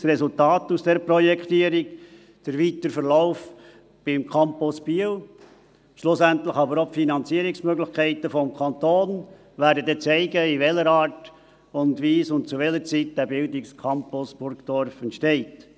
Das Resultat aus dieser Projektierung, der weitere Verlauf beim Campus Biel, schlussendlich aber auch die Finanzierungsmöglichkeiten des Kantons, werden dann zeigen, in welcher Art und Weise und zu welcher Zeit der Bildungscampus Burdorf entsteht.